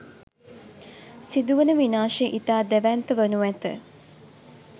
සිදුවන විනාශය ඉතා දැවැන්ත වනු ඇත.